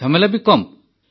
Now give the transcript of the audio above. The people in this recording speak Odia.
ଝାମେଲା ବି କମ୍